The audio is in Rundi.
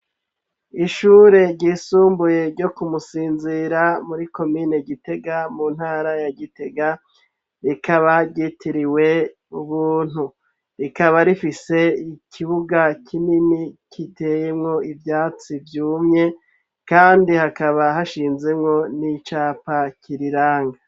Ishure ryisumbuye ryo kumusinzira muri komine gitega mu ntara ya gitega rikaba ryitiriwe ubuntu, rikaba rifise ikibuga kinini kiteyemwo ivyatsi vyumye, kandi hakaba hashinzemwo n'icapake kirirange.